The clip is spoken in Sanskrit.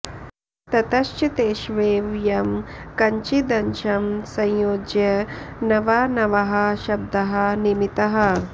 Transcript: ततश्च तेष्वेव यं कञ्चिदंशं संयोज्य नवा नवाः शब्दाः निमिताः